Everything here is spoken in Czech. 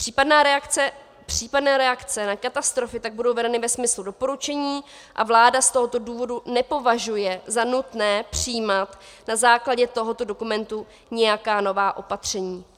Případné reakce na katastrofy tak budou vedeny ve smyslu doporučení a vláda z tohoto důvodu nepovažuje za nutné přijímat na základě tohoto dokumentu nějaká nová opatření.